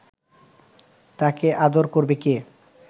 তাকে আদর করবে কে